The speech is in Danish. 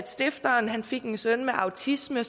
stifteren fik en søn med autisme